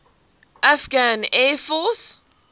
afghan air force